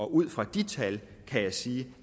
ud fra de tal kan jeg sige